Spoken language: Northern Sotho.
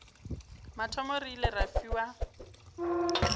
mathomo re ile ra fiwa